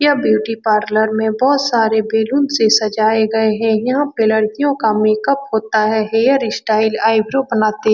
यह beauty parlour में बहुत सारे बैलून से सजाए गए हैं यहां पे लड़कियों का मेकअप होता है हेयर स्टाइल आइब्रो बनाते --